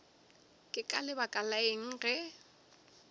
ka lebaka la eng ge